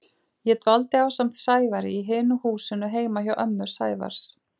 Ég dvaldi ásamt Sævari í hinu húsinu heima hjá ömmu Sævars.